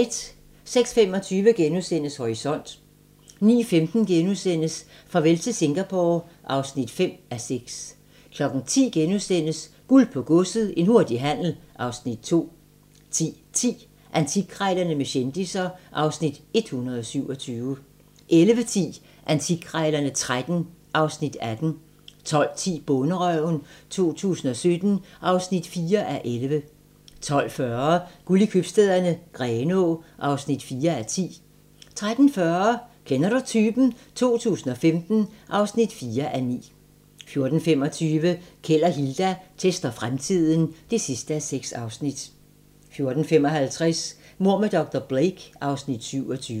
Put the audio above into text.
06:25: Horisont * 09:15: Farvel til Singapore (5:6)* 10:00: Guld på godset - en hurtig handel (Afs. 2)* 10:10: Antikkrejlerne med kendisser (Afs. 127) 11:10: Antikkrejlerne XIII (Afs. 18) 12:10: Bonderøven 2017 (4:11) 12:40: Guld i Købstæderne - Grenaa (4:10) 13:40: Kender du typen? 2015 (4:9) 14:25: Keld og Hilda tester fremtiden (6:6) 14:55: Mord med dr. Blake (Afs. 27)